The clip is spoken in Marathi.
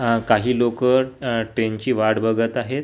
आह काही लोकं आह ट्रेनची वाट बघत आहेत.